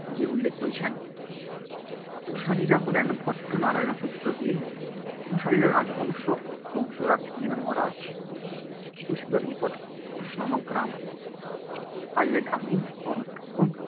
গিয়ে উল্লেখ করেছেন কুশারীরা হলেন ভট্টনারায়ণের পুত্র দীন কুশারীর রাজবংশজাত দীন মহারাজ ক্ষিতিশূরের নিকট কুশ নামক গ্রাম পাইয়া গ্রামীণ হন এবং